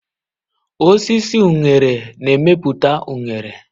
Osisi unere na-emepụta unere.